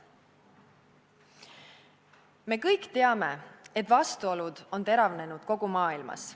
Me kõik teame, et vastuolud on teravnenud kogu maailmas.